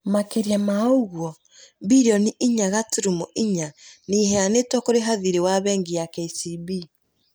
Makĩria ma ũguo, mbirioni inya gaturumo inya nĩ ĩheanĩtwo kũrĩha thirĩ wa bengi ya KCB.